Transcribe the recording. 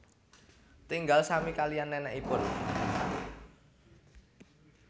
Tinggal sami kaliyan nenekipun